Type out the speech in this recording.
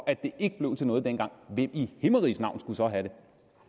at det ikke blev til noget dengang hvem i himmeriges navn skulle så have